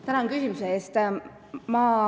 Tänan küsimuse eest!